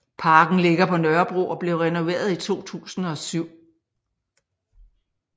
Parken ligger på Nørrebro og blev renoveret i 2007